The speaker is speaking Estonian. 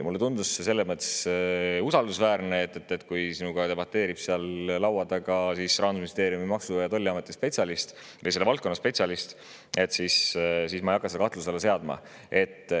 Mulle tundus see selles mõttes usaldusväärne, et kui minuga debateerib laua taga Rahandusministeeriumi Maksu‑ ja Tolliameti spetsialist, selle valdkonna spetsialist, siis ma ei hakka seda kahtluse alla seadma.